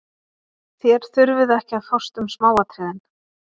Þér þurfið ekki að fást um smáatriðin.